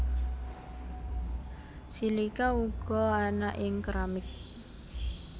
Silika uga ana ing keramik